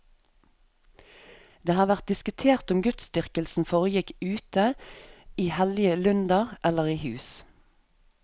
Det har vært diskutert om gudsdyrkelsen foregikk ute, i hellige lunder, eller i hus.